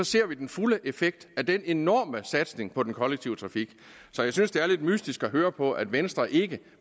ser vi den fulde effekt af den enorme satsning på den kollektive trafik så jeg synes det er lidt mystisk at høre på at venstre ikke